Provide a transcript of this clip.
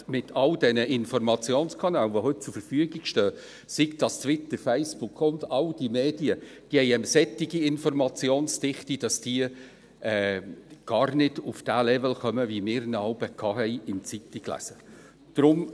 Mit all den Informationskanälen, die heute zur Verfügung stehen, sei es Twitter, Facebook, und all diesen Medien – diese haben eine solche Informationsdichte – kommen sie gar nicht auf den Level kommen, wie wir ihn jeweils beim Zeitunglesen hatten.